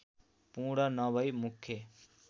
पूर्ण नभै मुख्य